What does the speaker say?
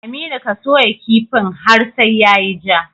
Aminu ka soya kifin har sai yayi ja